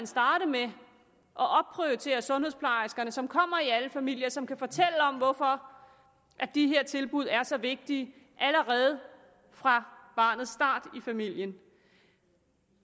starte med at opprioritere sundhedsplejerskerne som kommer i alle familier og som kan fortælle om hvorfor de her tilbud er så vigtige allerede fra barnets start i familien